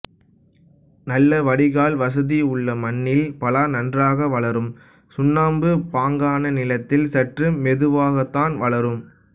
நல்ல வடிகால் வசதியுள்ள மண்ணில் பலா நன்றாக வளரும் சுண்ணாம்பு பாங்கான நிலத்தில் சற்று மெதுவாகத்தான் வளரும்